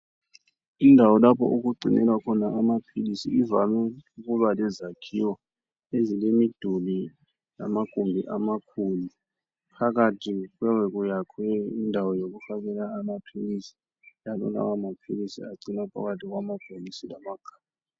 Indawo lapho okugcinelwa khona amaphilisi ,ivame ukuba lezakhiwo ezilemiduli lamagumbi amakhulu. Phakathi kuyabe kuyakhwe indawo yokufakela amaphilisi ,njalo lawo maphilisi agcinwa phakathi kwamabhokisi lamagabha.